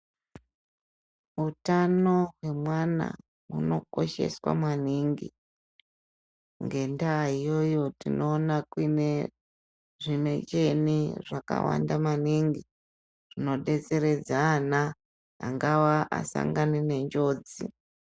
Utano hwemwana hunokosheswa maningi ngendayoyo tinoona kunyeya zvimecheni zvakawanda maningi zvinobetseredza ana angawa asangane nenjodzi.